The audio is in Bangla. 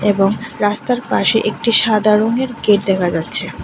এবং রাস্তার পাশে একটি সাদা রঙের গেট দেখা যাচ্ছে।